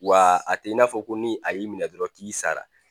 Wa a tɛ i n'a fɔ ko ni a y'i minɛn dɔrɔn k'i sara.